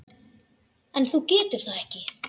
En þú getur það ekki.